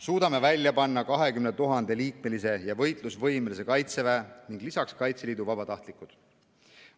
Suudame välja panna 20 000‑liikmelise võitlusvõimelise Kaitseväe ning lisaks Kaitseliidu vabatahtlikud.